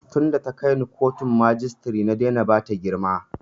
Tin da ta kai ni kotun majistare na daina bata girma